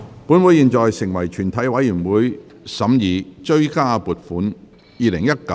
本會現在成為全體委員會，審議《追加撥款條例草案》。